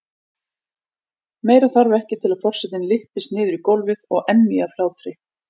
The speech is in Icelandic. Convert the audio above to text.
Meira þarf ekki til að forsetinn lyppist niður í gólfið og emji af hlátri.